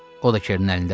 O da Kerinin əlindədir?